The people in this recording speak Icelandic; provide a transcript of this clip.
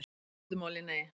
Í stuttu máli: Nei.